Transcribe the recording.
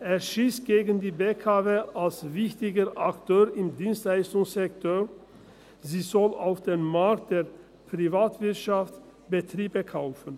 Er schiesst gegen die BKW als wichtiger Akteur im Dienstleistungssektor, sie soll auf dem Markt der Privatwirtschaft Betriebe kaufen.